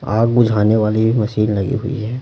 आग बुझाने वाली मशीन लगी हुई है।